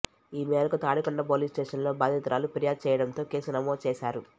ఈ మేరకు తాడికొండ పోలీస్ స్టేషన్లో బాధితురాలు ఫిర్యాదు చేయడంతో కేసు నమోదు చేశారు